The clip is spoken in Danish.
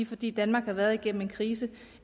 fordi danmark har været igennem en krise